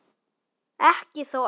Ekki þó öllum.